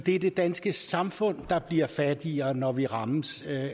er det danske samfund der bliver fattigere når vi rammes